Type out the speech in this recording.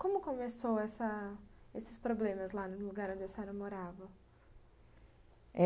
Como começou essa esses problemas lá no lugar onde a senhora morava? é...